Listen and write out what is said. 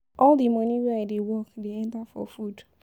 All di moni wey I dey work dey enta for food.